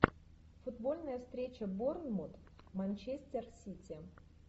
футбольная встреча борнмут манчестер сити